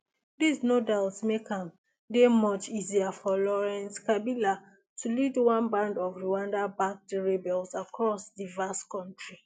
dis no doubt make am dey much easier for laurent kabila to lead one band of rwandabacked rebels across di vast kontri